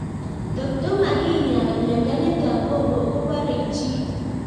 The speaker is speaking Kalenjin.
Totko makinyaa miondo nitok ko porei chii